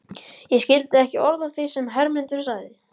Ég skildi ekki orð af því sem Hermundur sagði.